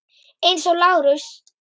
Eins og Lárus.